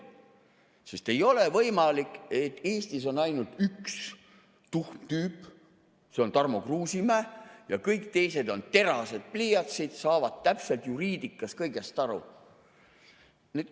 Sest ei ole võimalik, et Eestis on ainult üks tuhm tüüp, see on Tarmo Kruusimäe, ja kõik teised on teravad pliiatsid, saavad täpselt juriidikas kõigest aru.